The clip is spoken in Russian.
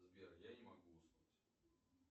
сбер я не могу уснуть